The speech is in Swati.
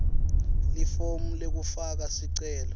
lifomu lekufaka sicelo